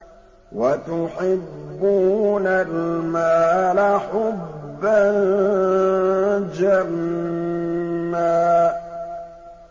وَتُحِبُّونَ الْمَالَ حُبًّا جَمًّا